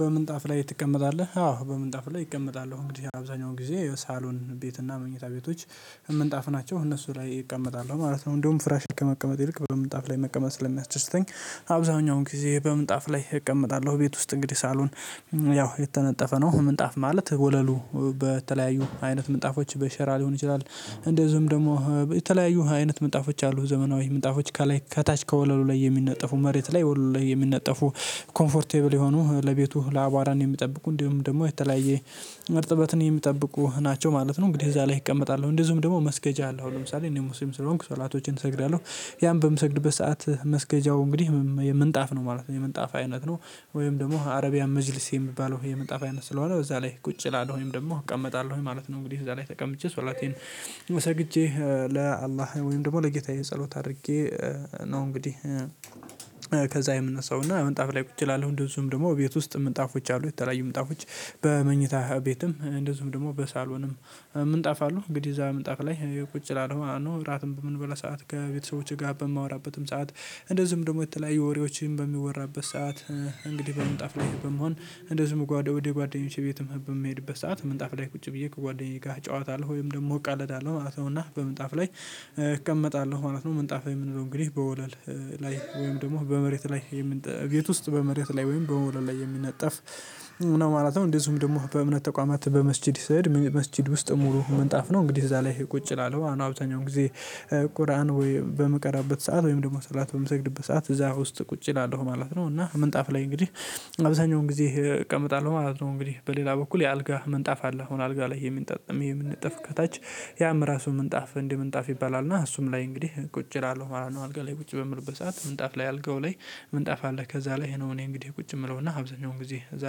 በምንጣፍ ላይ ትቀመጣለህ? አዎ በምንጣፍ ላይ እቀመጣለው እንግዲህ አብዛኛው ጊዜ የሳሎን ቤት እና መኝታ ቤቶች ምንጣፍ ናቸው እነሱ ላይ እቀመጣለሁ ማለት ነው። እንደውም ፍራሽ ከመቀመጥ ይልቅ በምጣፍ ላይ መቀመጥ ስለሚያስደስተኝ። አብዛኛውን ጊዜ በምንጣፍ ላይ እቀመጣለሁ ቤት ውስጥ እንግዲህ ሳሎን። ያው የተነጠፈ ነው ምንጣፍ ማለት ወለሉ በተለያዩ አይነት ምንጣፎች በሸራ ሊሆን ይችላል። እንደዚሁም ደግሞ የተለያዩ አይነት ምጣፎች አሉ። ዘመናዊ ምጣፎች ከላይ ከታች ከወለሉ ላይ የሚነጠፉ መሬት ላይ ወለሉ ላይ የሚነጠፉ ኮምፈርትብል የሆኑ ቤቱን ከአቧራ የሚጠብቁ እንዲሁም ደግሞ የተለያየ እርጥበትን የሚጠብቁ ናቸው። ማለት ነው እንግዲህ እዛ ላይ እቀመጣለሁ እንደዚሁም ደግሞ መስገጃ አለ። አሁን ለምሳሌ እኔ ሙስልም ስለሆንኩ ሰለዓቶችን እሰግዳለሁ ያን በምሰግድበት ሰዓት መስገጃው እንግዲህ የምንጣፍ ነው ማለት ነው የምንጣፍ አይነት ነው። ወይም ደግሞ አረብያን መጅልስ የሚባለው የምንጣፍ አይነት ስለሆነ በዛ ላይ ቁጭ እላለው ወይም ደግሞ እቀመጣለሁ ማለት ነው። እንግዲህ እዛ ላይ ተቀምጬ ስላቴን ሰግቼ ለአላህ ወይም ደግሞ ለጌታዬ ጸሎት አድርጌ ነው። እንግዲህ ከዛ የምነሳው እና ወንጣፍ ላይ ቁጭ ላለው። እንደዚሁም ደግሞ ቤት ውስጥ ምንጣፎች አሉ። የተለያዩ ምንጣፎች በመኝታ ቤትም እንደዚሁም ደግሞ በሳሎንም ምንጣፍ አለ። እንግዲህ እዛ ምን እጠፍ ላይ ቁጭ እላለው ማለት ነው። እራትም በምንበላ ሰዓት ከቤተሰቦቼ ጋር በማወራበትም ሰዓት እንደዚሁም ደግሞ የተለያዩ ወሬዎችም በሚወራበት ሰዓት። እንግዲህ በመጣፍ ላይ በመሆን እንደዚሁም ጓደኞቼ ቤትም በምሄድበት ሰዓት ምንጣፍ ላይ ቁጭ ብዬ ከጓደኛዬ ጋር እጨዋታለው ወይም ደግሞ እቃለደለው ማለት ነው። እና በምንጣፍ ላይ እቀመጣለሁ ማለት ነው። ምንጣፍ የምንለው እንግዲህ በወለል ላይ ወይም ደግሞ በመሬት ላይ ቤት ውስጥ በመሬት ላይ ወይም በወለል ላይ የሚነጠፍ ምናምን ማለት ነው። እንደዚሁም ደግሞ በእምነት ተቋማት በመስጊድ ሰሄድ መስጊድ ውስጥ ሙሉ መንጣፍ ነው እንግዲህ እዛ ላይ ቁጭ እላለሁ። አሁን አብተኛውን ጊዜ ቁርአን ወይ በምቀራበት ሰዓት ወይም ደግሞ ሰላት በምሰግድበት ሰዓት እዛ ውስጥ ቁጭ እላለሁ ማለት ነው። እና ምንጣፍ ላይ እንግዲህ አብዛኛውን ጊዜ እቀምጣለሁ ማለት ነው። እንግዲህ በሌላ በኩል የአልጋ ምንጣፍ አለ። አሁን አልጋ ላይ የምንጠጥም የምንጠፍ ከታች ያም ራሱ ምንጣፍ እንዲህ ምንጣፍ ይባላል እና እሱም ላይ እንግዲህ ቁጭ እላለሁ ማለት ነው። አልጋ ላይ ቁጭ በምልበት ሰዓት ምንጣፍ ላይ አልጋው ላይ ምንጣፍ አለ። ከዛ ላይ ነው እኔ እንግዲህ ቁጭ የምለውና አብዛኛውን ጊዜ እዛ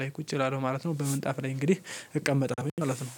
ላይ ቁጭ ይላል ማለት ነው። በመንጣፍ ላይ እንግዲህ እቀመጠለውኝ ማለት ነው።